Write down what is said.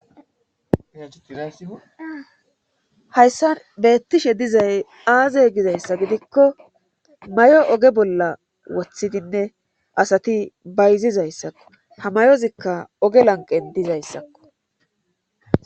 Hayssa beettishe dizay aaze gizayssa gidikko mayo oge bolla woththidinne asati bayzizayssakko hamayozikka oge lanqen dizayssakko